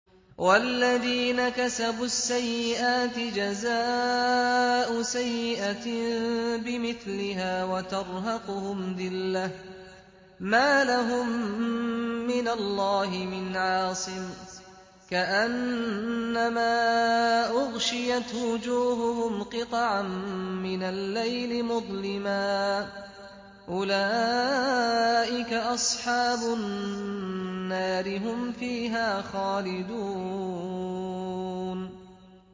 وَالَّذِينَ كَسَبُوا السَّيِّئَاتِ جَزَاءُ سَيِّئَةٍ بِمِثْلِهَا وَتَرْهَقُهُمْ ذِلَّةٌ ۖ مَّا لَهُم مِّنَ اللَّهِ مِنْ عَاصِمٍ ۖ كَأَنَّمَا أُغْشِيَتْ وُجُوهُهُمْ قِطَعًا مِّنَ اللَّيْلِ مُظْلِمًا ۚ أُولَٰئِكَ أَصْحَابُ النَّارِ ۖ هُمْ فِيهَا خَالِدُونَ